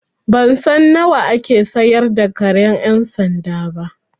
Ban san nawa ake sayar da karen ƴan sanda ba.